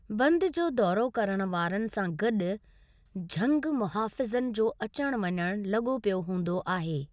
बंदु जो दौरो करणु वारनि सां गॾु झंगु मुहाफ़िज़नि जो अचणु वञणु लॻो पियो हूंदो आहे।